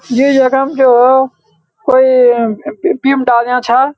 यो यखम बिम डाल्या छा --